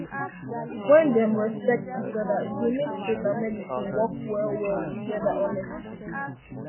when dem respect each um other e dey dey make faith and medicine um work well well together honestly